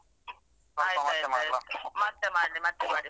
ಆಯ್ತಾಯ್ತ ಆಯ್ತು ಮತ್ತೆ ಮಾಡಿ ಮತ್ತೆ ಮಾಡಿ.